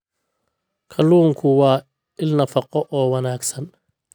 Kalluunku waa il nafaqo oo wanaagsan.